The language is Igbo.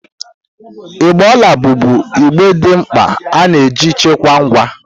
Igbe ọla bụbụ igbe dị mkpa ana eji chekwaa ngwa.